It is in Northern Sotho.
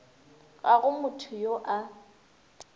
ga go motho yo a